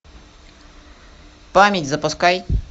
память запускай